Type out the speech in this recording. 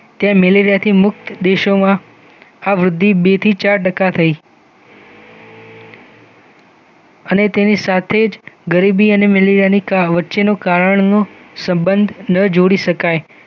તે મેલેરિયાથી મુક્ત દેશો મુક્ત દેશોમાં આ વૃદ્ધિ બે થી ચાર ટકા થઈ અને તેની સાથે જ ગરીબી અને મેલેરિયાની વચ્ચેનો કારણ નો સંબંધ ન જોડી શકાય